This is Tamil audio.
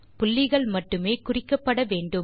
புள்ளிகள் மட்டுமே குறிக்கப்பட வேண்டும்